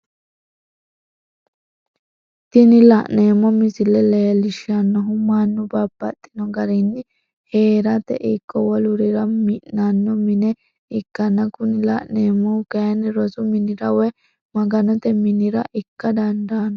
Tini la'neemo misile leellishanohu mannu babaxxino garinni heeratte ikko wolurira mi'nnanno mine ikkana kuni la'neemohi kayinni rosu minira woyi maganote mine ikka dandano